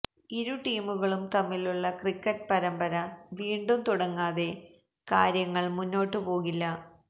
ഇരു ടീമുകളും തമ്മിലുള്ള ക്രിക്കറ്റ് പരമ്പര വീണ്ടും തുടങ്ങാതെ കാര്യങ്ങള് മുന്നോട്ടു പോകില്ല